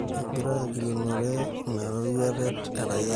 Egira agilunore inaroruata e raia Trump.